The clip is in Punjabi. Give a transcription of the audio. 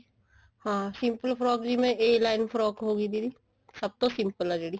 ਹਾਂ simple frock ਜਿਵੇਂ a line frock ਹੋ ਗਈ ਦੀਦੀ ਸਭ ਤੋਂ simple ਹੈ ਜਿਹੜੀ